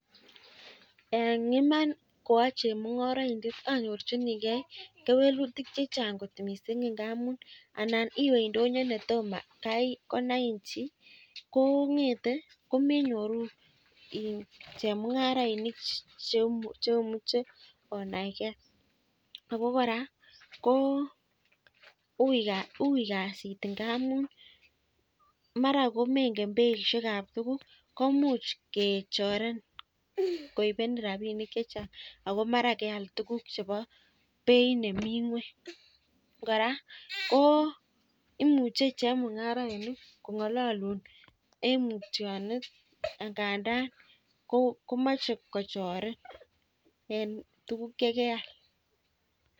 Eng inam kwoa chemung'oraindet anyorchinigei kewelutik chechang kot mising. Ngamun anan iwe ndoyo no tomo kay konain chii kong'etei komenyoru chemung'arainik cheomuche onaigei. Ako kora ko ui kasit ngamun mara ko meng'et beishekab tukuk ko much kechorin koibenen rabinik chechang ako keal tukuk chebo beit nemii ng'weny. Kora ko imuchei chemung'oraindet eng oret nebo mutionet akomachei kochorin.